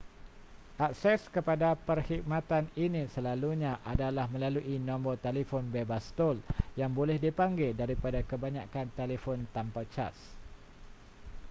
akses kepada perkhidmatan ini slelalunya adalah melalui nombor telefon bebas tol yang boleh dipanggil daripada kebanyakan telefon tanpa caj